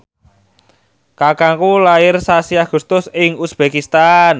kakangku lair sasi Agustus ing uzbekistan